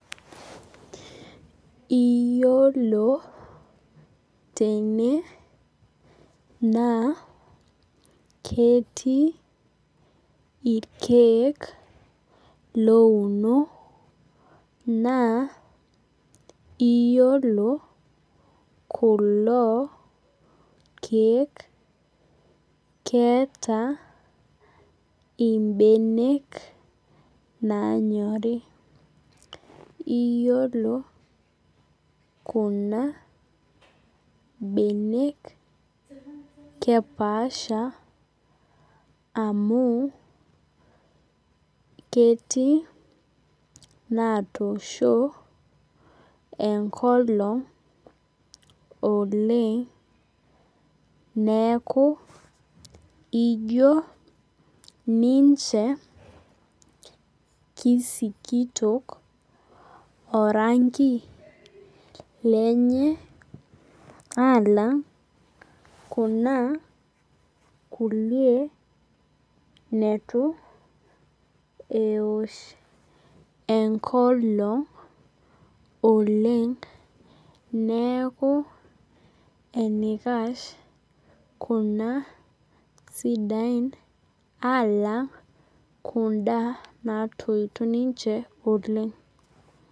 Iyolo tene naa ketii irkiek louno naa iyolo kulo kiek keeta imbenek naanyori iyolo kuna benek kepaasha amu ketii natoosho enkolong oleng neaku ijo ninche kisikitok orangi lenye alang kuna kulie netu eosh enkolong oleng neaku enikash kuna sidain alang kunda natpito ninche oleng.